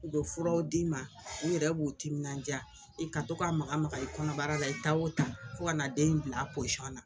U bɛ furaw d'i ma u yɛrɛ b'u timinandiya i ka to ka maka maka i kɔnɔbara la i taa o taa fo kana na den in bila a na